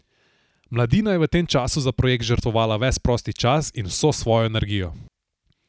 Mladina je v tem času za projekt žrtvovala ves prosti čas in vso svojo energijo.